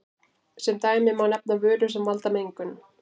Sem dæmi má nefna vörur sem valda mengun.